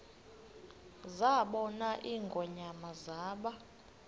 zabona ingonyama zaba